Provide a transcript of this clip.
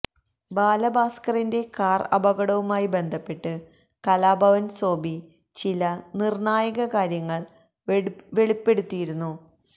ബാലഭാസ്കറിൻ്റെ car അപകടവുമായി ബന്ധപ്പെട്ട് കലാഭവൻ സോബി ചില നിർണ്ണായക കാര്യങ്ങൾ വെളിപ്പെടുത്തിയിരുന്നു